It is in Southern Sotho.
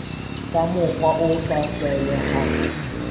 ka mokgwa o sa tlwaelehang